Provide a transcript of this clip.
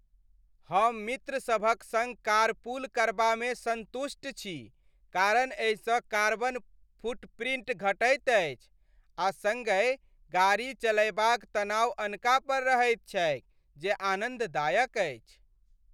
हम मित्र सभक संग कारपूल करबामे सन्तुष्ट छी, कारण एहिसँ कार्बन फुटप्रिंट घटैत अछि आ सङ्गहि गाड़ी चलयबाक तनाव अनका पर रहैत छैक जे आनन्ददायक अछि।